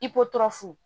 I ko tɔɔrɔ fu